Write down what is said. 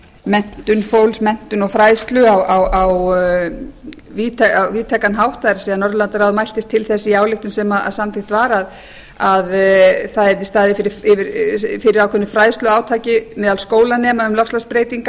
menntun fólks menntun og fræðslu á víðtækan hátt það er að norðurlandaráð mæltist til það í ályktun sem samþykkt var að það yrði staðið fyrir ákveðnu fræðsluátaki meðal skólanema